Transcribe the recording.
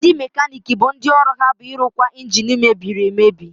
Ndị mekaniiki bụ ndị ọrụ ha bụ ịrụkwa ịnjini mebiri emebi.